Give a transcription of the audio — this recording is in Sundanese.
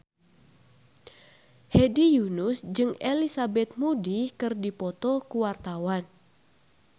Hedi Yunus jeung Elizabeth Moody keur dipoto ku wartawan